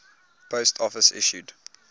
post office issued